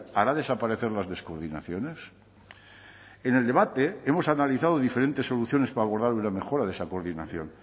hará desaparecer las descoordinaciones en el debate hemos analizado diferentes soluciones para abordar una mejora de esa coordinación